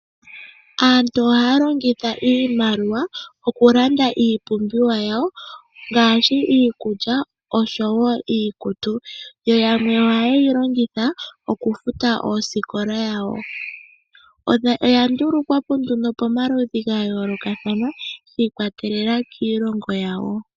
Aantu ohaya longitha iimaliwa okulanda iipumbiwa yawo ngaashi iikulya oshowoo iikutu. Yamwe ohaye yi longitha okufuta oosikola dhawo. Oya ndulukwapo pomaludhi gayoolokathana , yiikwatelela kiilongo yawo.